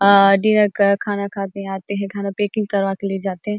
आ dinner कर खाना खा के आते है खाना पैकिंग करा के ले जाते है।